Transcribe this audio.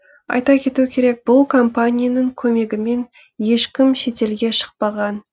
айта кету керек бұл компанияның көмегімен ешкім шетелге шықпаған